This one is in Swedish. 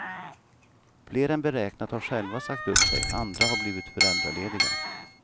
Fler än beräknat har själva sagt upp sig, andra har blivit föräldralediga.